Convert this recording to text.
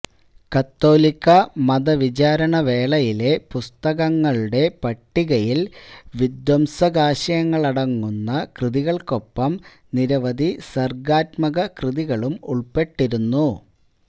കത്തോലിക്കാ മതവിചാരണവേളയിലെ പുസ്തകങ്ങളുടെ പട്ടികയില് വിധ്വംസകാശയങ്ങളടങ്ങുന്ന കൃതികള്ക്കൊപ്പം നിരവധി സര്ഗാത്മകകൃതികളും ഉള്പ്പെട്ടിരുന്നു